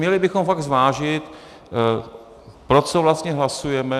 Měli bychom fakt zvážit, pro co vlastně hlasujeme.